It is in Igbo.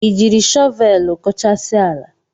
Ị jiri shọvelu koochasia ala?